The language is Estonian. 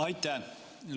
Aitäh!